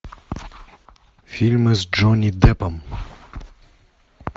фильмы с джонни деппом